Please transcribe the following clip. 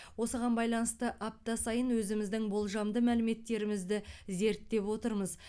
осыған байланысты апта сайын өзіміздің болжамды мәліметтерімізді зерттеп отырмыз